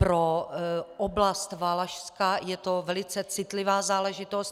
Pro oblast Valašska je to velice citlivá záležitost.